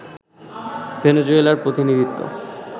ভেনেজুয়েলার প্রতিনিধিত্ব